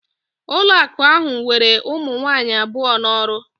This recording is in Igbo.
Ụlọakụ ahụ were ụmụ nwaanyị abụọ n'ọrụ